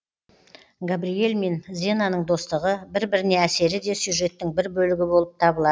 габриэль мен зенаның достығы бір біріне әсері де сюжеттің бір бөлігі болып табылады